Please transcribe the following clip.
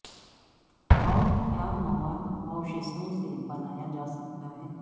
اور کیا مواد اوشیشوں سے بنایا جا سکتا ہے